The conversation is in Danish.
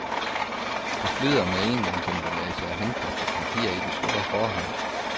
Det flyder med engangsemballage og henkastet papir i den store forhal.